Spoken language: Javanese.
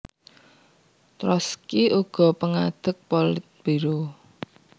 Trotski uga pangadeg Politbiro